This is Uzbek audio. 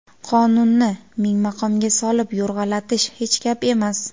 qonunni ming maqomga solib yo‘rg‘alatish hech gap emas.